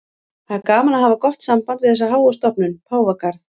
Það er gaman að hafa gott samband við þessa háu stofnun, Páfagarð.